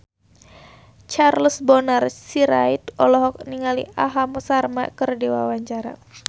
Charles Bonar Sirait olohok ningali Aham Sharma keur diwawancara